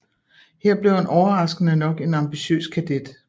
Her blev han overraskende nok en ambitiøs kadet